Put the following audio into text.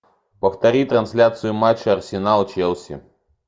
повтори трансляцию матча арсенал челси